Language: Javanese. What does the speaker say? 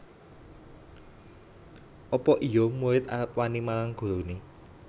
Apa iya murid arep wani marang gurune